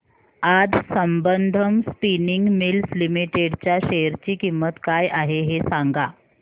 आज Sambandam spinning mills limited च्या share ची किंमत काय आहे हे सांगा